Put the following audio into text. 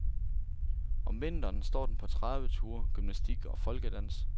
Om vinteren står den på traveture, gymnastik og folkedans.